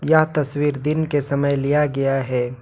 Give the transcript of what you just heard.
यह तस्वीर दिन के समय लिया गया है।